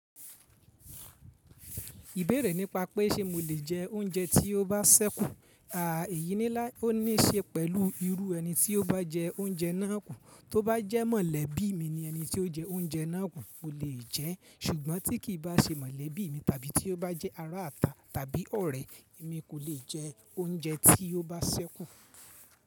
Ìbéèrè nípa pé ṣe mo lè jẹ oúnjẹ tí ó bá sẹ́kù, àá èyí ní lá òní se pẹ̀lú irú ẹni tí ó bá jẹ oúnjẹ náà kù tó bá jẹ́ mọ̀lẹ́bí mi ni ẹni tí ó jẹ oúnjẹ náà kù, mo lè jẹ́. Ṣùgbọ́n tí kì í bá ṣe mọ̀lẹ́bí mi tàbí tí ó bá jẹ́ ará ata tàbí ọ̀rẹ́, èmi kò le jẹ oúnjẹ tí ó bá sẹ́kù.